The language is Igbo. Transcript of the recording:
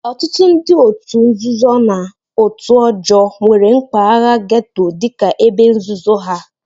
Ọtụtụ ndị òtù nzuzo na òtù ọjọọ nwere mpaghara gétò dị ka ebe nzuzo ha